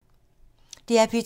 DR P2